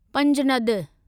Panjnad